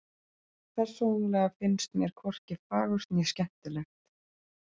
Persónulega finnst mér hvorki fagurt né skemmtilegt.